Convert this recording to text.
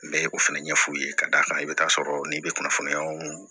N bɛ o fɛnɛ ɲɛ f'u ye ka d'a kan i bɛ taa sɔrɔ n'i bɛ kunnafoniyaw